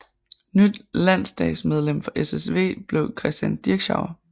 Nyt landsdagsmedlem for SSW blev Christian Dirschauer